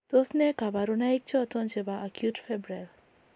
Tos nee kabarunaik choton chebo Acute febrile